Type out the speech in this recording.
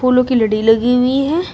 फूलो की लड़ी लगी हुई है।